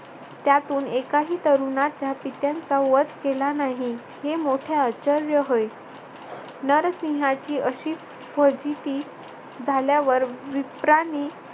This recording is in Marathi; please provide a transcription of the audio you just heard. त्यातून एकाही तरुणाच्या पित्यांचा नाही वध केला नाही. हे मोठे आश्चर्य होय. नरसिंहाची अशी फजिती झाल्यावर विप्रानी